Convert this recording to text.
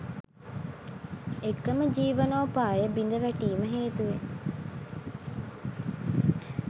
එකම ජීවනෝපාය බිඳවැටීම හේතුවෙන්